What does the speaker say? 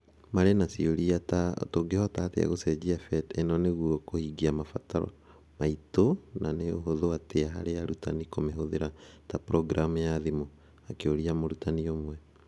Marĩ na ciũria ta "tũngĩhota atĩa gũcenjia PhET ino nĩguo kũhingia mabataro maitu na nĩ ũhũthũ atĩa harĩ arutani kũmĩhũthĩra ta programu ya thimũ?" akĩũria mũrutani ũmwe.